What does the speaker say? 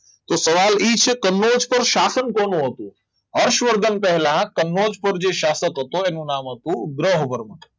તો સવાલ એ છે કે કાનોજ પર શાસન કોણ હતું હર્ષવર્ધન પહેલા કનોજ પર જે શાસન હતો એનું નામ હતું ગ્રહવર્ધન